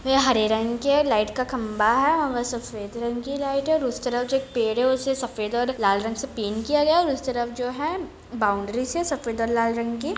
वे हरे रंग के है लाईट का खम्भा है और सफेद रंग की लाईट है और उस तरफ जो एक पेड़ है उसे सफ़ेद और लाल रंग से पेन्ट किया गया है और उस तरफ जो है बाउंड्री है सफेद और लाल रंग की--